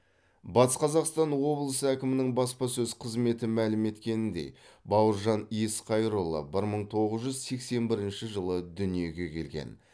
батыс қазақстан облысы әкімінің баспасөз қызметі мәлім еткеніндей бауыржан есқайырұлы бір мың тоғыз жүз сексен бірінші жылы дүниеге келген